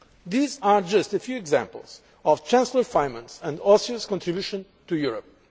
These are just a few examples of Chancellor Faymann's and Austria's contributions to Europe.